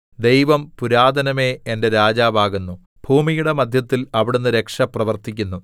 ദൈവം പുരാതനമേ എന്റെ രാജാവാകുന്നു ഭൂമിയുടെ മദ്ധ്യത്തിൽ അവിടുന്ന് രക്ഷ പ്രവർത്തിക്കുന്നു